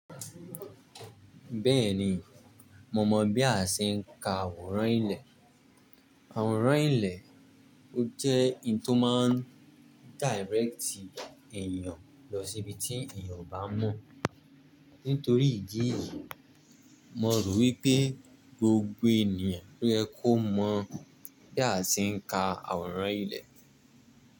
Bẹ́ẹ̀ni, mo mọ̀ bí a ṣe ń ka àwòrán ilẹ̀. Àwòrán ilẹ̀, ó jẹ́ ohun tó máa ń direct èèyàn lọ síbi tí èèyàn ò bá mọ̀. Nítorí ìdí yìí, mo rò wípé gbogbo èèyàn lo ye kò mọ̀ bí a ṣe ń ka àwòrán ilẹ̀.